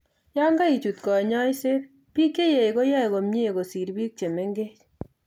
Yon keichut konyoiset, biik cheyech koyoe komye kosir biik chemengech